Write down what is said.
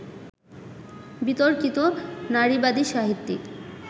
বিতর্কিত নারীবাদী সাহিত্যিক